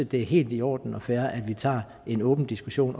det er helt i orden og fair at vi tager en åben diskussion